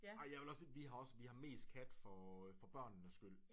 Ej jeg vil også sige vi har også vi har mest kat for for børnenes skyld